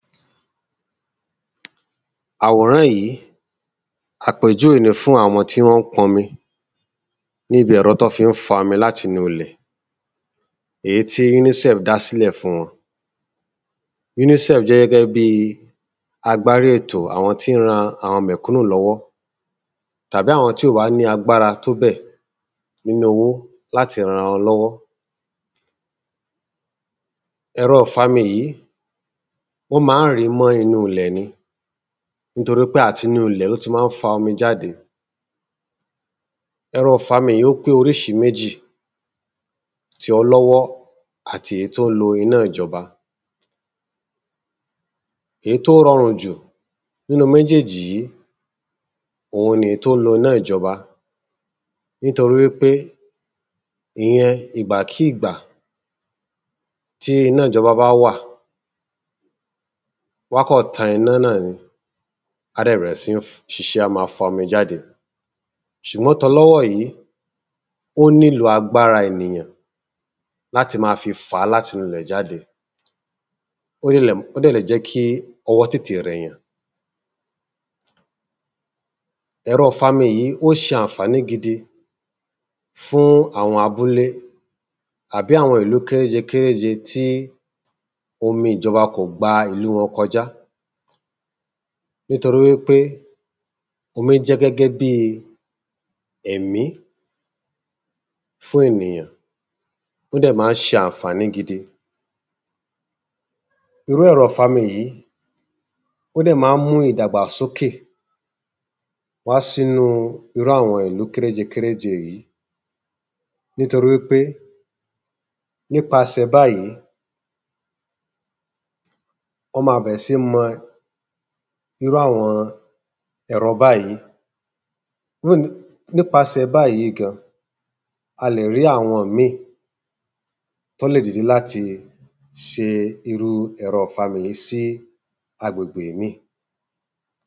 Àwòrán yí, àpèjúwé ni fún àwọn ọmọ tí wọ́n pọn mi n'íbi ẹ̀rọ t’ọ́ fí ń fa ‘mi l’áti inú ilẹ̀ èí tí UNICEF dá s'ílẹ̀ fún wọn UNICEF jẹ́ gẹ́gẹ́ bi àgbárí ètò àwọn tí ń ran mẹ̀kúnù l'ọ́wọ́. tàbí àwọn tí ó bá ni agbára tó bẹ̀ n’ínu owó l’átí ran 'ra wọn l’ọ́wọ́ Ẹ̀rọ ‘fami yìí ó má ń rìí mọ́ inú ilẹ̀ ni nítorí pé àti inú ilẹ̀ ó ti má ń fa omi jáde Ẹ̀rọ ‘fami yì ó pé oríṣi méjì: ti ọlọ́wọ́ àti èyí t’ó ń lo iná ìjọba Èé t’ó rọrùn jù n’í́nú méjèjì yí, òun ni èé t’ó ń lo iná ìjọba nítorí wí pé ìyẹn ìgbàkí ìgbà tí iná ìjọba bá wà, w'á kọ̀ tan iná nọ̀ni a dẹ̀ bẹ̀rẹ̀ sí ń ṣiṣẹ́ á má fa omi jáde Ṣùgbọ́n t’ọ l’ọ́wọ́ yí, ó nílò agbára ènìyàn l’áti ma fi fà á l'áti inú ilẹ̀ jáde ó dẹ̀ lè jẹ́ kí ọwọ́ tètè rẹ̀yàn Ẹ̀rọ ‘fami yìí ó ṣe ànfàní gidi fún àwọn abúlé àbí àwọn ìlú kéréje kéréje Omi ìjọba kò gba ìlú wọn kọjá Nítorí wí pé, omi jẹ́ gẹ́gẹ́ bí i ẹ̀mí fún ènìyàn. Ó dẹ̀ má ń ṣe ànfàni gidi Irú ẹ̀rọ ‘fami yìí ó dẹ̀ má ń mú idàgbàsókè wá s'ínú irú àwọn ìlu kéréje kéréje yìí. Nítorí wí pé n'ípasẹ̀ báyí ọ́ ma bẹ̀rẹ̀ sí mọ irú àwọ ẹ̀rọ báyí N'ípasẹ̀ báyí gan, a lè rí àwọn ‘míì t’ọ́ lè dìde l’áti ṣe irú ẹ̀rọ ‘fami yí sí agbègbè míì